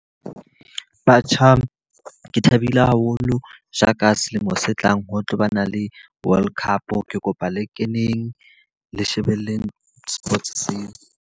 Batjha, ke thabile haholo ja ka selemo se tlang ho tlabana le World Cup. Ke kopa le keneng le shebeleng sports seo.